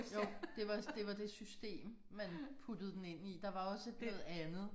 Jo det var det var det system man kan puttede dem ind i. Der var også noget andet